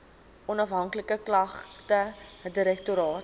onafhanklike klagtedirektoraat